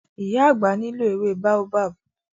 Ìyá àgbà nílò ewé Baobab.